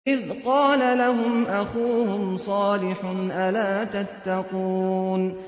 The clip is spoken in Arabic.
إِذْ قَالَ لَهُمْ أَخُوهُمْ صَالِحٌ أَلَا تَتَّقُونَ